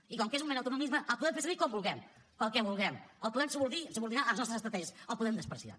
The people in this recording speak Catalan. i com que és un mer autonomisme el podem fer servir com vulguem per al que vulguem el podem subordinar a les nostres estratègies el podem menysprear